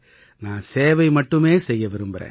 நான் சேவை மட்டுமே செய்ய விரும்பறேன்